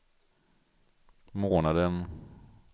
månaden